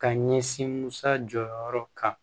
Ka ɲɛsin musa jɔyɔrɔ kan